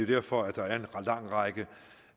derfor der er en lang række